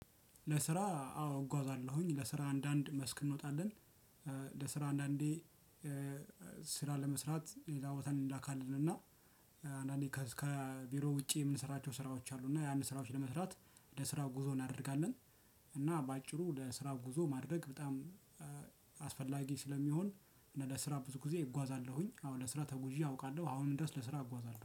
ለስራ አዎ እጓዛለሁኝ ለስራ አንዳንድ መስክ እንወጣለን። ለስራ አንዳንዴ ስራ ለመስራት ሌላ ቦታ እንላካለንና። አንዳንዴ ከቢሮ ውጪ የምንሰራቸው ስራዎች አሉና ያንን ስራዎች ለመስራት ለስራው ጉዞ እናደርጋለን። እና በአጭሩ ለስራው ጉዞ ማድረግ በጣም ስለሚሆን ለስራ ብዙ ጊዜ እጓዛለሁኝ አሁን ለስራ ተጉዤ አውቃለሁ። አሁን ድረስ ለስራ እጓዛለሁ